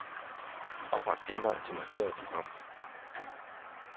Opret genvej til markerede program.